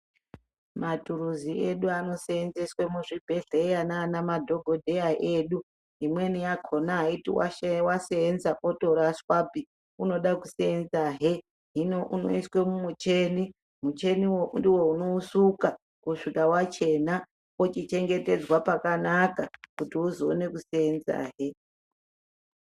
Maturuzi edu anoseenseswe muzvibhehlera nanamadhokodheya edu imweni yakona aiti yaseenza yotorashwapi unoda kuseenza he ,hino unoiswe mumucheni, mucheniwo ndiwo unousuka, kusvika wachena wochichengetedzwa pakanaka kuti uzoone kuseenzahe.